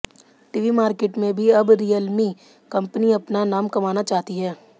TV market में भी अब रियलमी कंपनी अपना नाम कमाना चाहती है